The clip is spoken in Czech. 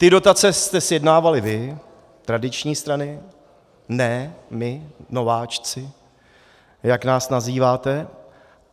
Ty dotace jste sjednávali vy, tradiční strany, ne my nováčci, jak nás nazýváte.